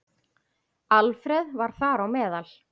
Alfreð var þar á meðal.